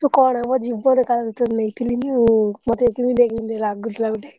ତୁ କହନା ମୋ ଜୀବନ କାଳ ଭିତରେ ନେଇଥିଲିନି ମତେ କେମିତିଆ କେମିତିଆ ଲାଗୁଥିଲା ଗୋଟେ।